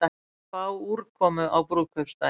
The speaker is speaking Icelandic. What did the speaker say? Spá úrkomu á brúðkaupsdaginn